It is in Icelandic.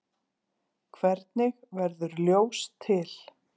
Hvernig verður ljós til?